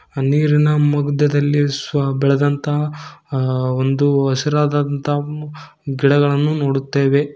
ನೀರಿನ ಮಧ್ಯದಲ್ಲಿ ಸ್ವ ಬೆಳದಂತ ಅ ಒಂದು ಹಸಿರಾದಂತಹ ಗಿಡಗಳನ್ನು ನೋಡುತ್ತೇವೆ.